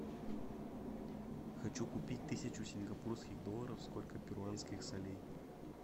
хочу купить тысячу сингапурских долларов сколько перуанских солей